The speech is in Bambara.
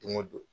Don o don